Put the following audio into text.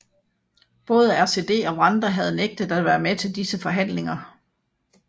Både RCD og Rwanda havde nægtet at være med til disse forhandlinger